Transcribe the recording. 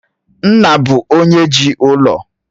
Nna bụ onye jii ụlọ